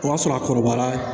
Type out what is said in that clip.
O y'a sɔrɔ a kɔrɔbara